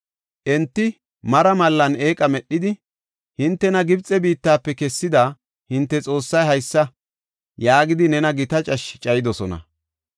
Enti mara malan eeqa medhidi, “Hintena Gibxe biittafe kessida hinte xoossay haysa” yaagidi nena gita cashshe cayidosona.